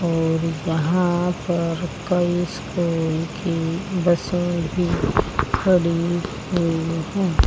और यहां पर कई स्कूल की बसें भी खड़ी हुई हैं।